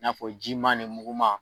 N'a fɔ jiman ni muguman